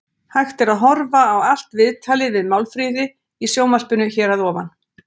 Hægt er að horfa á allt viðtalið við Málfríði í sjónvarpinu hér að ofan.